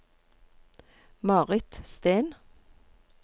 Marit Steen